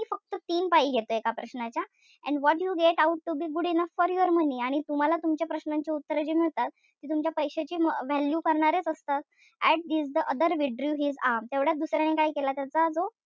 तीन पाई घेतो एका प्रश्नाचे. And what you get ought to be good enough for your money आणि तुम्हाला तुमच्या प्रश्नाचे उत्तर जे मिळतात. ते तुमच्या पैशाचे value करणारेच असतात. At this the other withdrew his arm तेवढ्यात दुसर्याने काय केलं त्याचा जो,